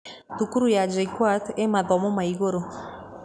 Thukuru ya JKUAT ĩĩ mathomo ma igũrũ.